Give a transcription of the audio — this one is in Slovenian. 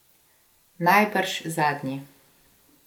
Najbrž zadnji.